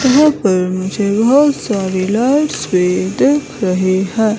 यहां पर मुझे बहोत सारी लाइट्स भी दिख रही हैं।